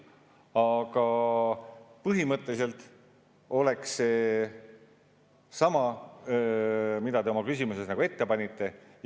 Aga põhimõtteliselt oleks see sama, mida te oma küsimuses ette panite.